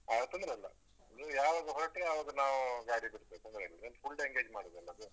ಹಾ ತೊಂದ್ರೆ ಇಲ್ಲ. ನೀವ್ ಯಾವಾಗ ಹೊರಟ್ರಿ ಆವಾಗ ನಾವು ಗಾಡಿ ಬಿಡ್ತೇವೆ ತೊಂದ್ರೆ ಇಲ್ಲ ನೀವ್ full day ಎಂಗೇಜ್ ಮಾಡಿದ್ದಲ್ಲ ಅದು.